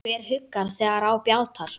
Hver huggar þegar á bjátar?